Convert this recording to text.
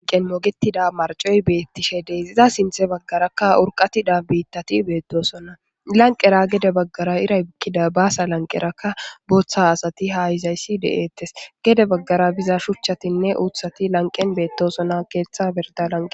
Laniqen mogetida maricoy betishshe des iza sinththe bagarakka urqatida bitati betosona lanqera gede baggara iray bukida basa lanqerakka boththa haxati ha yizayssi de'etes gede bagara shuchatinne uththati betosona keththa birda lanqen